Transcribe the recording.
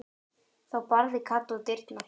Þá barði Kata á dyrnar.